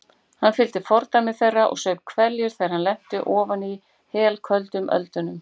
Hann fylgdi fordæmi þeirra og saup hveljur þegar hann lenti ofan í helköldum öldunum.